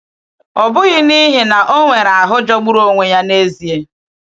Ọ bụghị n’ihi na o nwere ahụ jọgburu onwe ya n’ezie.